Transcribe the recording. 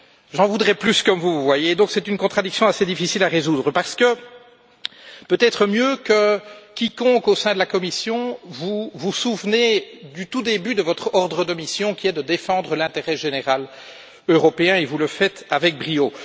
J'en voudrais plus comme vous c'est donc une contradiction assez difficile à résoudre parce que, peut être mieux que quiconque au sein de la Commission, vous vous souvenez du tout début de votre ordre de mission qui est de défendre l'intérêt général européen et vous le faites avec brio.